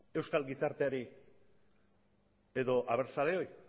euskal gizarteari edo abertzaleoi